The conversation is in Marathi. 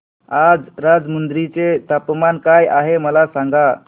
आज राजमुंद्री चे तापमान काय आहे मला सांगा